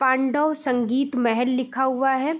पांडव संगीत महल लिखा हुआ है।